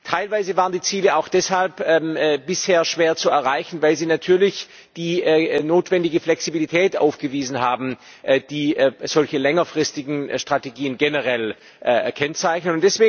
Teilweise waren die Ziele auch deshalb bisher schwer zu erreichen, weil sie natürlich die notwendige Flexibilität aufgewiesen haben, die solche längerfristigen Strategien generell kennzeichnen.